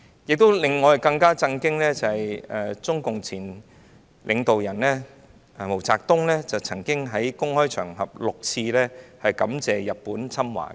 不過，令我們更震驚的是，中共前領導人毛澤東曾經先後6次在公開場合感謝日本侵華。